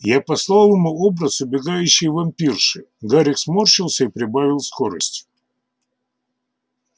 я послал ему образ убегающей вампирши гарик сморщился и прибавил скорость